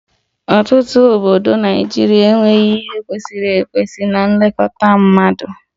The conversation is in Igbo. Ọtụtụ obodo Naịjirịa enweghị ihe ndị kwesịrị ekwesị na-elekọta mmadụ